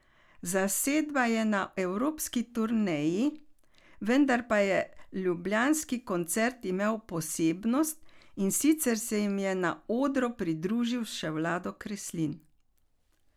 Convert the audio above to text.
Zasedba je na evropski turneji, vendar pa je ljubljanski koncert imel posebnost, in sicer se jim je na odru pridružil še Vlado Kreslin.